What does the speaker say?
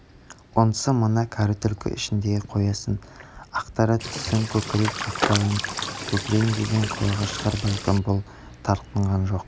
онысы мына кәрі түлкі ішіндегі қоясын ақтара түссін көкірек қатпарын көрейін деген қулығы шығар бәлкім бұл тартынған жоқ